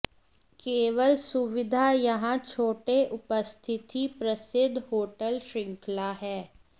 केवल सुविधा यहां छोटे उपस्थिति प्रसिद्ध होटल श्रृंखला है